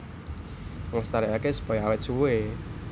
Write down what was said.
Nglestarékaké supaya awét suwé